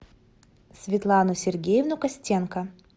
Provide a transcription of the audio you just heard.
светлану сергеевну костенко